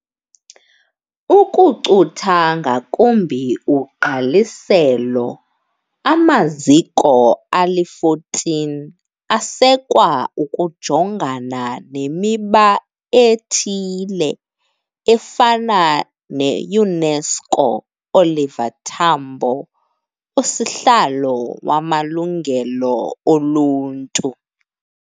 Ukucutha ngakumbi ugqaliselo, amaziko ali14 asekwa ukujongana nemiba ethile, efana neUNESCO Oliver Tambo USihlalo wamaLungelo oLuntu.